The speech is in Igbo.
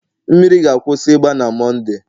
mmiri ga-akwụsị ịgba na Mọnde